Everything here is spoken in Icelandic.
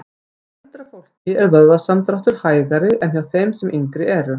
Hjá eldra fólki er vöðvasamdráttur hægari en hjá þeim sem yngri eru.